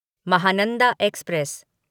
Mahananda express